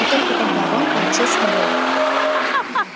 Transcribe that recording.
и только тогда рон получил свободу